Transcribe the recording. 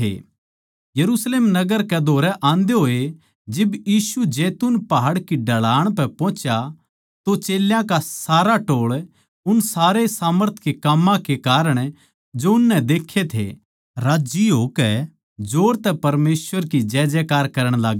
यरुशलेम नगर कै धोरै आंदे होए जिब यीशु जैतून पहाड़ की ढलाण पै पोहुच्या तो चेल्यां का सारा टोळ उन सारे सामर्थ के काम्मां कै कारण जो उननै देक्खे थे राज्जी होकै जोर तै परमेसवर की जयजयकार करण लाग्गे